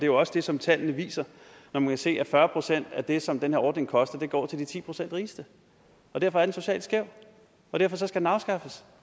jo også det som tallene viser når man kan se fyrre procent af det som den her ordning koster går til de ti procent rigeste derfor er den socialt skæv og derfor skal den afskaffes